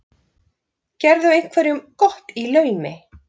Gerðu einhverjum gott í laumi.